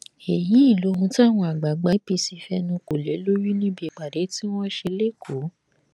èyí lohun táwọn àgbààgbà apc fẹnu kò lé lórí níbi ìpàdé tí wọn ṣe lẹkọọ